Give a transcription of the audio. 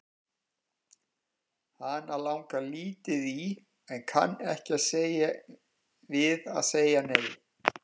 Hana langar lítið í en kann ekki við að segja nei.